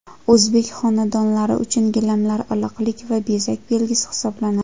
O‘zbek xonadonlari uchun gilamlar iliqlik va bezak belgisi hisoblanadi.